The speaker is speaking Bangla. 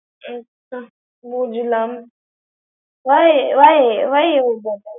আচ্ছা বুজলাম। why why why you do? ।